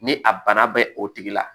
Ni a bana bɛ o tigi la